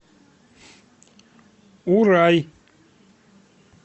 урай